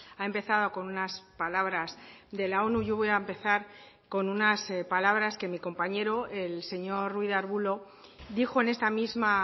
ha empezado con unas palabras de la onu yo voy a empezar con unas palabras que mi compañero el señor ruiz de arbulo dijo en esta misma